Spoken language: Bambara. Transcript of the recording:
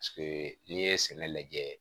n'i ye sɛnɛ lajɛ